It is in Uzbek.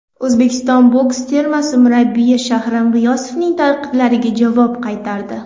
O‘zbekiston boks termasi murabbiyi Shahram G‘iyosovning tanqidlariga javob qaytardi !